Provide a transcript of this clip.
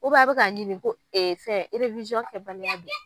a bɛ k'a ɲini ko kɛ baliya don